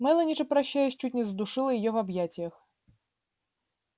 мелани же прощаясь чуть не задушила её в объятиях